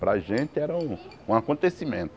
Para a gente, era um um